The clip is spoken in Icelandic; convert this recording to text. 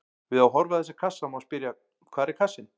Við að horfa á þessa kassa má spyrja: hvar er kassinn?